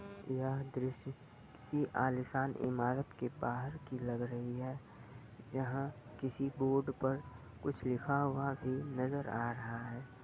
यह दृश्य की आलीशान इमारत के बाहर की लग रही है जहाँ किसी बोर्ड पर कुछ लिखा हुआ की नजर आ रहा है।